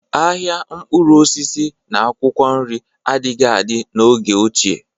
Ahịa mkpụrụ osisi na akwụkwọ nri adịghị adị n'oge ochie